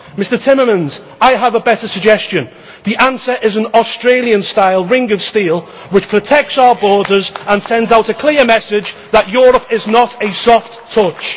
Mr Timmermans, I have a better suggestion. The answer is an Australian style ring of steel, which protects our borders and sends out a clear message that Europe is not a soft touch.